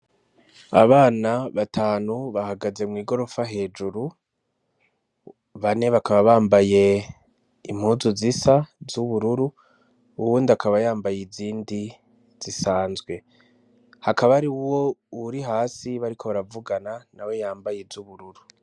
Abana batanu bahagaze mw'igorofa hejuru; bane bakaba bambaye impuzu zisa z'ubururu, uwundi akaba yambaye izindi zisanzwe, Hakaba hariho uwuri hasi bariko baravugana, nawe yambaye iz'ubururu.